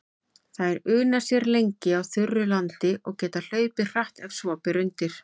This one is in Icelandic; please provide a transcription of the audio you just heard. Þær una sér lengi á þurru landi og geta hlaupið hratt ef svo ber undir.